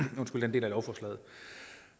del af lovforslaget